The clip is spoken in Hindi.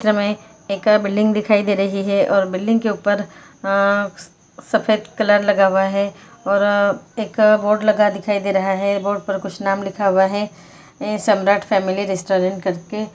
चित्र में एक अ बिल्डिंग दिखाई दे रही हैं और बिल्डिंग के ऊपर अ-अ सफेद कलर लगा हुआ हैं और अ-अ एक अ बोर्ड लगा दिखाई दे रहा हैं बोर्ड पर कुछ नाम लिखा हुआ हैं ई सम्राट फेमिली रेस्टोरेंट करके।